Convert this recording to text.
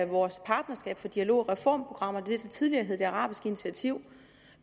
vores partnerskab for dialog og reform programmer det der tidligere hed det arabiske initiativ